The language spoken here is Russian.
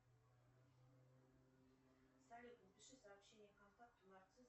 салют напиши сообщение контакту нарцисс